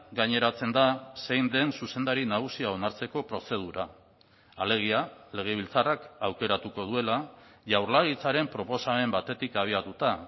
gaineratzen da zein den zuzendari nagusia onartzeko prozedura alegia legebiltzarrak aukeratuko duela jaurlaritzaren proposamen batetik abiatuta